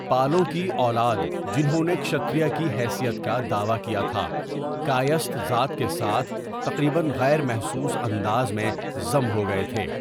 پالوں کی اولاد، جنہوں نے شتریا کی حیثیت کا دعویٰ کیا تھا، کائستھ ذات کے ساتھ 'تقریباً غیرمحسوس انداز میں ضم ہوگئے تھے۔